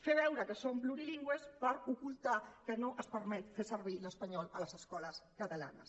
fer veure que som plurilingües per ocultar que no es permet fer servir l’espanyol a les escoles catalanes